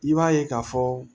I b'a ye k'a fɔ